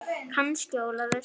Kannski Ólafur.